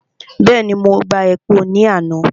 Bẹ́ẹ̀ni, mo gba epo ní àná.